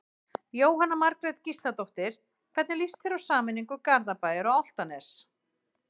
Jóhanna Margrét Gísladóttir: Hvernig lýst þér á sameiningu Garðabæjar og Álftanes?